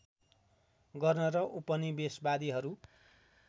गर्न र उपनिवेशवादीहरू